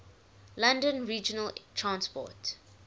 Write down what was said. london regional transport